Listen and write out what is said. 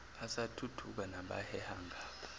asathuthuka nabaheha ngapha